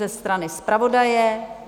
Ze strany zpravodaje?